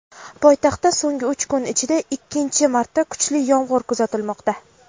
Poytaxtda so‘nggi uch kun ichida ikkinchi marta kuchli yomg‘ir kuzatilmoqda.